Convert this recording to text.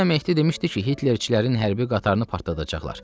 Dünən Mehdi demişdi ki, Hitlerçilərin hərbi qatarını partladacaqlar.